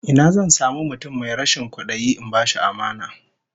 Ina zan samu mutum mai rashin kwadayi in bashi amana?